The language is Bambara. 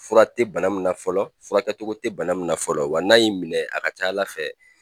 Fura tɛ bana min na fɔlɔ furakɛcogo tɛ bana min na fɔlɔ wa n'a y'i minɛ a k'a ca Ala fɛ